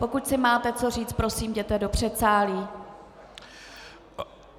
Pokud si máte co říct, prosím, jděte do předsálí.